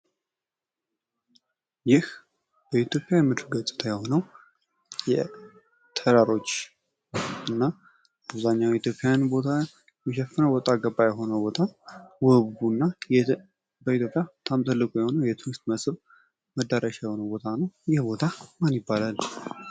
ይህ የኢትዮጵያ የምድር ገጽታ የሆነው የተራሮች እና አብዘሃኛዉን የኢትዮጵያን ቦታ የሚሸፍነው ወጣ ገባ የሆነ ቦታ ውቡና በኢትዮጵያ በጣም ሰፊ እና ትልቁ የሆነው የቱሪስት መዳረሻ የሆነው ቦታ ነው ይህ ቦታ ማን ይባላል?